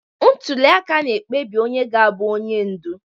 Ntuli aka na-ekpebi onye ga-abụ onye ndu